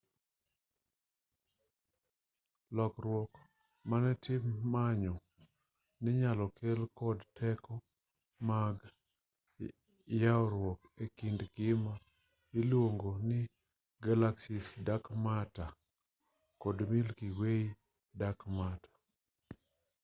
lokruok mane tim manyo ninyalo kel kod teko mag ywaruok ekind gima iluongo ni galaxy's dark matter kod milky way dark matter